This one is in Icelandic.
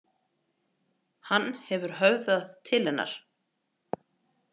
Hann hefur höfðað til hennar.